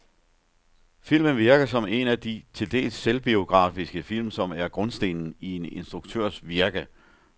Filmen virker som en af de til dels selvbiografiske film, som er grundstenen i en instruktørs virke.